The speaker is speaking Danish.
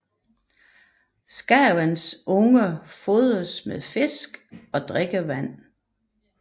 Skarvens unger fodres med fisk og drikkevand